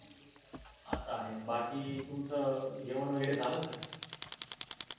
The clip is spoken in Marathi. अस आहे बाकी तुमच जेवण वगेरे झाल? sir